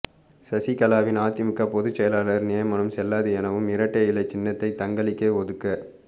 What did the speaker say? சசிகலாவின் அதிமுக பொதுச்செயலாளர் நியமனம் செல்லாது எனவும் இரட்டை இலை சின்னத்தை தங்களுக்கே ஒதுக்க